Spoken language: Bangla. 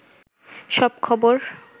সব খবর